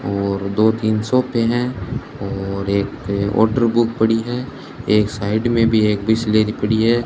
और दो तीन सोफे हैं और एक आर्डर बुक पड़ी है एक साइड में भी एक बिसलेरी पड़ी है।